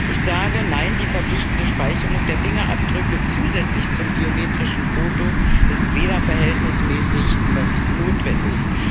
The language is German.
Ich sage Nein, die verpflichtende Speicherung der Fingerabdrücke zusätzlich zum biometrischen Foto ist weder verhältnismäßig noch notwendig.